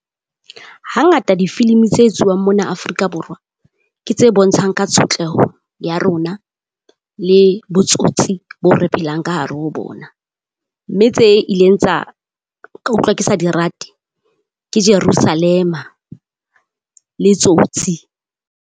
Ha ngata di filimi tsa etsuwang mona Afrika Borwa. Ke tse bontshang ka tshotleho ya rona, le botsotsi bo re phelang ka hare ho bona. Mme tse ileng tsa, ka utlwa ke sa di rate ke Jerusalema le Tsotsi.